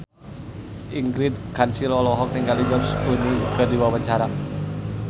Ingrid Kansil olohok ningali George Clooney keur diwawancara